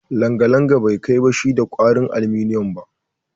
Langalanga bai kai bashi da kwarin aluminiyum ba